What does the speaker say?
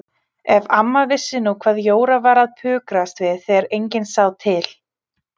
Ef amma vissi nú hvað Jóra var að pukrast við þegar enginn sá til!